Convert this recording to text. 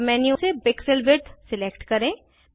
सब मेन्यू से pixel width select करें